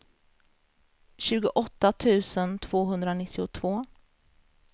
tjugoåtta tusen tvåhundranittiotvå